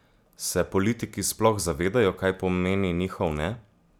Se politiki sploh zavedajo, kaj pomeni njihov ne?